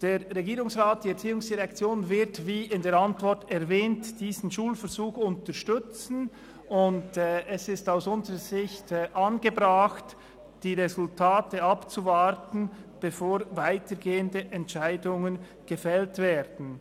Der Regierungsrat, die ERZ wird, wie in der Antwort erwähnt, diesen Schulversuch unterstützen, und es ist aus unserer Sicht angebracht, die Resultate abzuwarten, bevor weitergehende Entscheidungen gefällt werden.